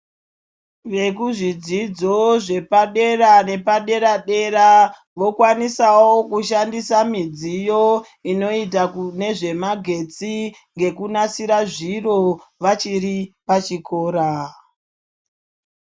Vekuzvidzidzo zvepadera nepadera dera vokwanisawo kushandisa midziyo inoita kune zvemagetsi ngekunasira zviro vachiri pachikora.